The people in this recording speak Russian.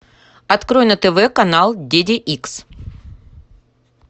открой на тв канал ди ди икс